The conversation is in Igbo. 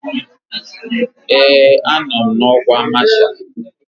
Ee, anọ m n'ọkwa masha